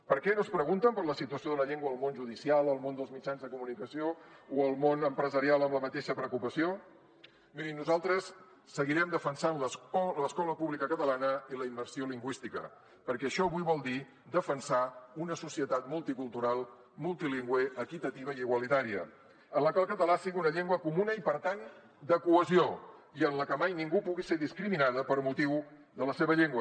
per què no es pregunten per la situació de la llengua al món judicial al món dels mitjans de comunicació o al món empresarial amb la mateixa preocupació mirin nosaltres seguirem defensant l’escola pública catalana i la immersió lingüística perquè això avui vol dir defensar una societat multicultural multilingüe equitativa i igualitària en la que el català sigui una llengua comuna i per tant de cohesió i en la que mai ningú pugui ser discriminada per motiu de la seva llengua